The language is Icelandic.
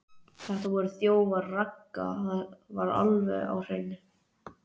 Þetta voru þjófar, Ragga, það er alveg á hreinu.